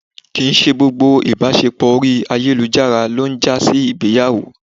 kí ń ṣe gbógbo ìbáṣepọ orí ayélujará lo n jasí ìgbéyàwó